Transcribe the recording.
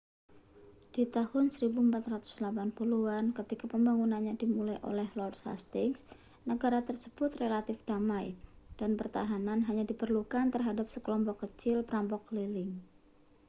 di tahun 1480-an ketika pembangunannya dimulai oleh lord hastings negara tersebut relatif damai dan pertahanan hanya diperlukan terhadap sekelompok kecil perampok keliling